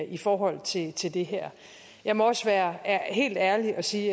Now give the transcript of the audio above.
i forhold til til det her jeg må også være helt ærlig og sige